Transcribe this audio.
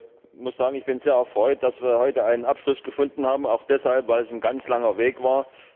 Ich muss sagen, ich bin sehr erfreut, dass wir heute einen Abschluss gefunden haben, auch deshalb, weil es ein ganz langer Weg war.